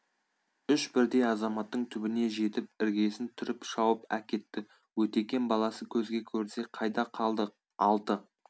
үш бірдей азаматтың түбіне жетіп іргесін түріп шауып әкетті өтекем баласы көзге көрінсе қайда қалды алты